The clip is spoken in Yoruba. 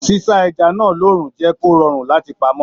S'isa ẹja náà lóorun jẹ kó rọrùn láti pamọ́.